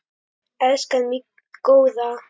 Elskan mín góða.